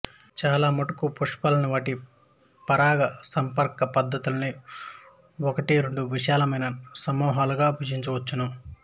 చాలా మటుకు పుష్పాల్ని వాటి పరాగ సంపర్క పద్ధతుల్ని బట్టి రెండు విశాలమైన సమూహాలుగా విభజించవచ్చు